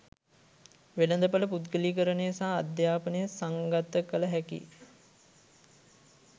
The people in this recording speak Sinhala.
වෙළඳපොළ පුද්ගලීකරණය සහ අධ්‍යාපනය සංගත කළ හැකි